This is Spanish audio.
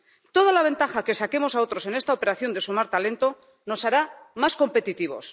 Toda la ventaja que saquemos a otros en esta operación de sumar talento nos hará más competitivos.